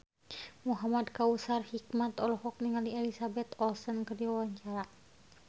Muhamad Kautsar Hikmat olohok ningali Elizabeth Olsen keur diwawancara